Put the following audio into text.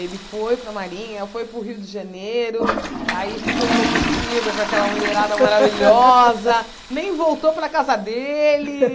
Ele foi para a Marinha, foi para o Rio de Janeiro, aí ficou enlouquecida com aquela mulherada maravilhosa, nem voltou para a casa dele.